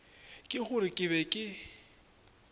ke gore ke be ke